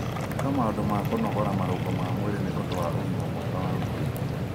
ĩka maũndũ ma kũnogora marũngo ma mwĩrĩ nĩ ũndũ wa ũgima mwega wa mwĩrĩ